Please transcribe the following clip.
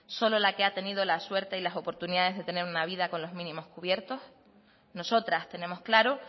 solo la que ha tenido la suerte y las oportunidades de tener una vida con los mínimos cubiertos nosotras tenemos claro